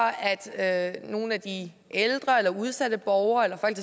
at nogle af de ældre eller udsatte borgere eller folk